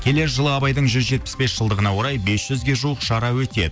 келер жылы абайдың жүз жетпіс бес жылдығына орай бес жүзге жуық шара өтеді